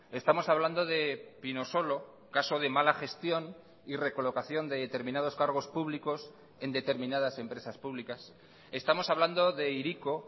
estamos hablando de pinosolo caso de mala gestión y recolocación de determinados cargos públicos en determinadas empresas públicas estamos hablando de hiriko